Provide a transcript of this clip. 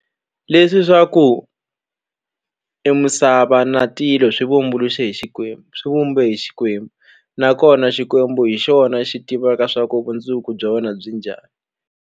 Leswi swa ku e misava na tilo swi vumbuluxe hi Xikwembu swi vumbe hi Xikwembu nakona Xikwembu hi xona xi tivaka swa ku vundzuku bya wena byi njhani.